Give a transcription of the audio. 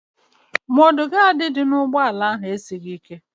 Mọd gaadị dị n'ụgbọala ahụ esighị ike.